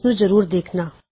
ਉਸਨੂੰ ਜਰੂਰ ਦੇਖਣਾ